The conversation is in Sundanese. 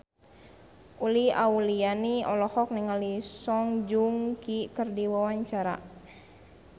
Uli Auliani olohok ningali Song Joong Ki keur diwawancara